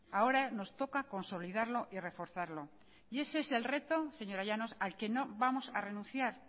ahora nos toca consolidarlo y reforzarlo y ese es el reto señora llanos al que no vamos a renunciar